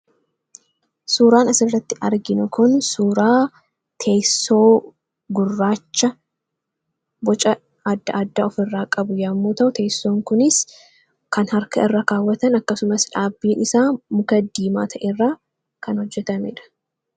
Suuraa kanaa gadii irratti kan argamu kun suuraa teessoo gurraacha boca addaa addaa kan of irraa qabu yammuu ta'u; teessoon kunis kan harka irraa ka'atan kan qabuu dha.